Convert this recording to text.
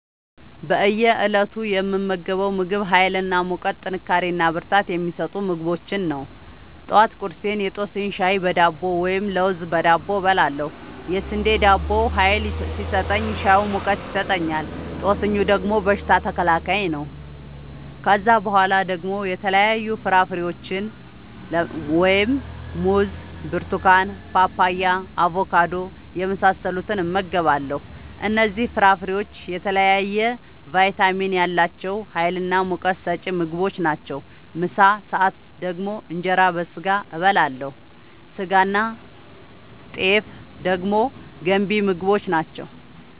በእየ እለቱ የምመገበው ምግብ ሀይል እና ሙቀት ጥንካሬና ብርታት የሚሰጡ ምግቦችን ነው። ጠዋት ቁርሴን የጦስኝ ሻይ በዳቦ ወይም ለውዝ በዳቦ እበላለሁ። የስንዴ ዳቦው ሀይል ሲሰጠኝ ሻዩ ሙቀት ይሰጠኛል። ጦስኙ ደግሞ በሽታ ተከላካይ ነው። ከዛ በኋላ ደግሞ የተለያዩ ፍራፍሬዎችን(ሙዝ፣ ብርቱካን፣ ፓፓያ፣ አቦካዶ) የመሳሰሉትን እመገባለሁ እነዚህ ፍራፍሬዎች የተለያየ ቫይታሚን ያላቸው ሀይልናሙቀት ሰጪ ምግቦች ናቸው። ምሳ ሰአት ደግሞ እንጀራ በስጋ አበላለሁ ስጋናጤፍ ደግሞ ገንቢ ምግቦች ናቸው